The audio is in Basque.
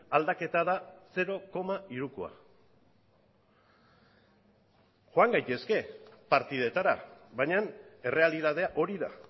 aldaketa da zero koma hirukoa joan gaitezke partidetara baina errealitatea hori da